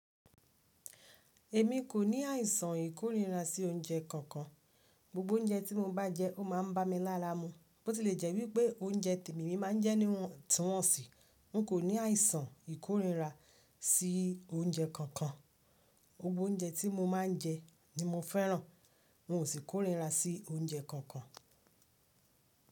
Èmi kò ní àìsàn ìkórira sí oúnjẹ kankan. Gbogbo oúnjẹ tí mo bá jẹ, ó má a ń bá mi lára mu. Bó ti lè jẹ́ wípé oúnjẹ tèmi emi má ń jẹ́ ni wọ́n ti wọ̀nsì. N kò ní àìsàn ìkórira sí oúnjẹ kankan. Gbogbo oúnjẹ tí mo má ń jẹ ni mo fẹ́ràn. N ò sì kórira sí oúnjẹ kankan.